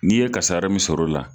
N'i ye kasara min sɔrɔ o la